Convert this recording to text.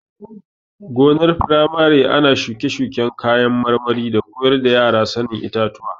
Gonar firamare ana shuke-shuken kayan marmari da koyar da yara sanin itatuwa.